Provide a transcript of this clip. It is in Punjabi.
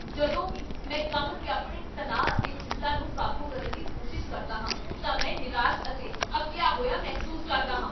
ਜਦੋਂ ਵੀ ਮੈਂ ਕੰਮ 'ਤੇ ਆਪਣੇ ਤਣਾਅ ਅਤੇ ਚਿੰਤਾ ਨੂੰ ਕਾਬੂ ਕਰਨ ਦੀ ਕੋਸ਼ਿਸ਼ ਕਰਦਾ ਹਾਂ ਤਾਂ ਮੈਂ ਨਿਰਾਸ਼ ਅਤੇ ਅੱਕੀਆ ਹੋਇਆ ਮਹਿਸੂਸ ਕਰਦਾ ਹਾਂ।